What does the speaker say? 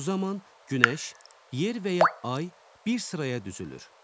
Bu zaman günəş, yer və ya ay bir sıraya düzülür.